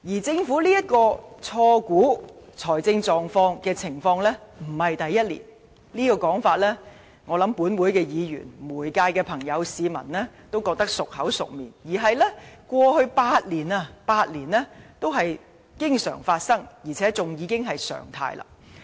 政府錯估財政狀況的情況並非第一年，我想立法會議員、媒體和市民也知道；過去8年，這種情況經常發生，而且已成為常態。